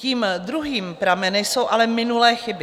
Tím druhým pramenem jsou ale minulé chyby.